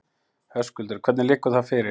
Höskuldur: Hvenær liggur það fyrir?